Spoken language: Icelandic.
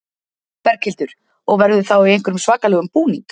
Berghildur: Og verður þá í einhverjum svakalegum búning?